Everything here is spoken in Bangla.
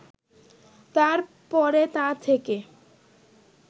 তার পরে তা থেকে